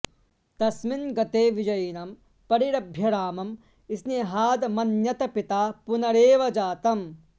तस्मिन्गते विजयिनं परिरभ्य रामं स्नेहादमन्यत पिता पुनरेव जातं